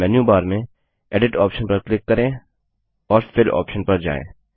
अब menu bar में edit option पर क्लिक करें और फिल ऑप्शन पर जाएँ